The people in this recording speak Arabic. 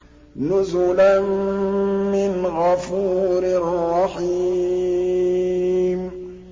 نُزُلًا مِّنْ غَفُورٍ رَّحِيمٍ